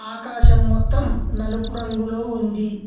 ఆకాశం మొత్తం నలుపు రంగులో ఉంది.